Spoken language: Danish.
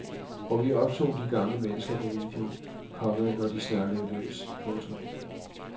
Og vi optog de gamle mennesker på video, komma når de snakkede løs. punktum